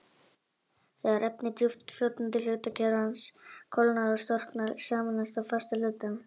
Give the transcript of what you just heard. Þegar efni djúpt í fljótandi hluta kjarnans kólnar og storknar, sameinast það fasta hlutanum.